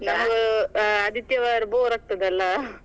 ಹಾ ಆದಿತ್ಯವಾರ bore ಆಗ್ತದಲ್ಲಾ?